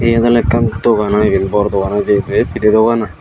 yen awle ekkan dogan aai iben bor dogan oidi ibe pidey dogan aai.